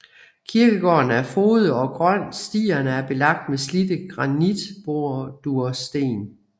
Kirkegården er frodig og grøn og stierne er belagt med slidte granitbordursten